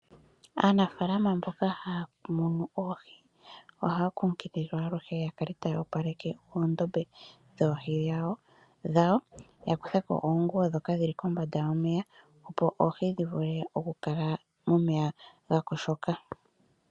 Aanafaalama mboka haya munu oohi ohaya kunkililwa alihe yakale taya opaleke oondobe dhoohi dhawo, ya kutheko oonguwo ndhoka dhili kombada yomeya opo oohi dhivule oku kala momeya gakoshoka.